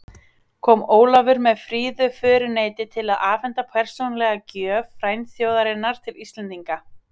Kom Ólafur með fríðu föruneyti til að afhenda persónulega gjöf frændþjóðarinnar til Íslendinga.